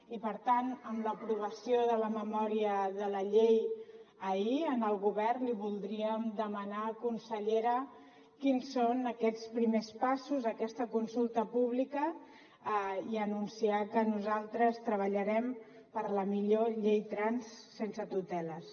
i per tant amb l’aprovació de la memòria de la llei ahir al govern li voldríem demanar consellera quins són aquests primers passos aquesta consulta pública i anunciar que nosaltres treballarem per la millor llei trans sense tuteles